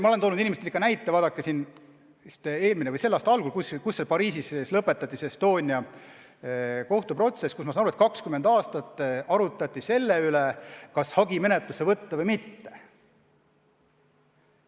Ma olen ikka näite toonud, et kas selle või eelmise aasta alguses lõpetati Pariisis Estonia kohtuprotsess, kus, nagu ma aru sain, 20 aastat arutati selle üle, kas hagi menetlusse võtta või mitte.